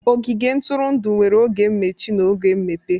Ogige ntụrụndụ nwere oge mmechi na oge mmepe